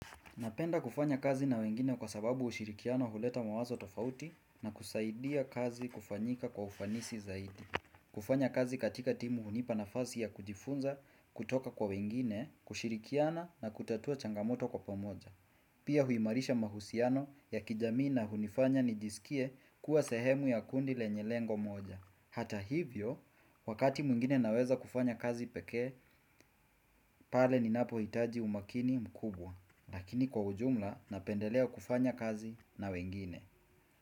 Napenda kufanya kazi na wengine kwa sababu ushirikiano huleta mawazo tofauti na kusaidia kazi kufanyika kwa ufanisi zaidi. Kufanya kazi katika timu unipata nafasi y kujifunza kutoka kw wengine kushirikiana na kutatua changamoto kwa pamoja. Pia huimarisha mahusiano ya kijamii na hunifanya nijisikie kuwa sehemu ya kundi lenye lengo moja. Hata hivyo, wakati mwingine naweza kufanya kazi peke, pale ninapo hitaji umakini mkubwa. Lakini kwa ujumla napendelea kufanya kazi na wengine.